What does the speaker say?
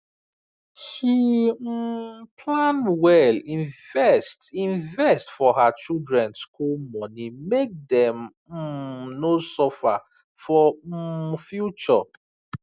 she um plan well invest invest for her children school money make dem um no suffer for um future